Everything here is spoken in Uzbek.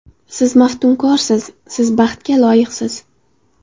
Siz maftunkorsiz, siz baxtga loyiqsiz!